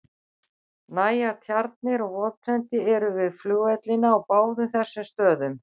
Nægar tjarnir og votlendi eru við flugvellina á báðum þessum stöðum.